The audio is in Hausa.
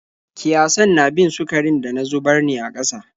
Kiyasan na bin sukarin da na zubar ne a ƙasa.